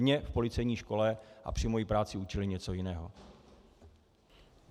Mě v policejní škole a při mojí práci učili něco jiného.